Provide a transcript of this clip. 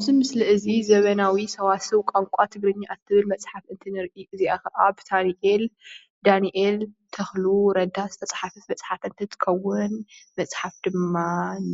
እዚ ምስሊ እዚ ዘመናዊ ሰዋስው ቋንቋ ትግርኛ እትብል መፅሓፍ እትብል እዚኣ ከዓ ብዶክተር ዳንኤል ተኽሉ ረዳ ዝተፅሓፈት መፅሓፍ እንትትከውን መፅሓፍ ድማ